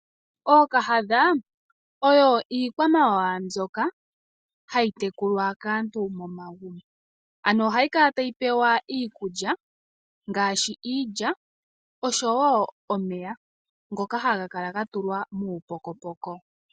Ookahadha oyo iikwamawawa mbyoka hayi tekulwa kaantu momagumbo . Ohayi kala tayi pewa iikulya ngaashi iilya oshowo omeya ngoka haga kala gatulwa muupokopoko .